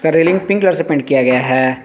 Railing pink colour से paint किया गया है।